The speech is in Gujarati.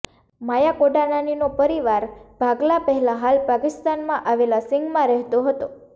માયા કોડનાનીનો પરિવાર ભાગલા પહેલાં હાલ પાકિસ્તાનમાં આવેલા સિંધમાં રહેતો હતો